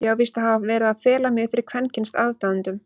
Ég á víst að hafa verið að fela mig fyrir kvenkyns aðdáendum?!